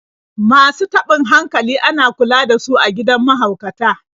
Masu taɓin hankali ana kula da su a gidan mahaukata.